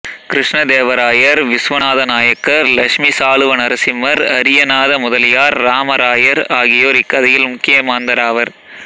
கிருஷ்ணதேவராயர் விசுவநாத நாயக்கர் லட்சுமி சாளுவ நரசிம்மர் அரியநாத முதலியார் இராமராயர் ஆகியோர் இக்கதையில் முக்கிய மாந்தராவர்